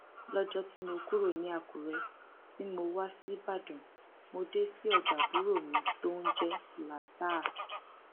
lọjọ tí mo kúrò ní akure tí mo wá ṣíbàdàn mo dé sí ọdọ àbúrò mi tó ń jẹ zlataha